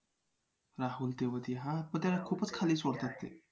राहुल तेवातीया हां पण त्याला खूपच खाली सोडतात ते